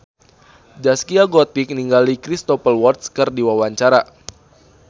Zaskia Gotik olohok ningali Cristhoper Waltz keur diwawancara